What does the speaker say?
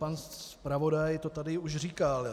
Pan zpravodaj to tady už říkal.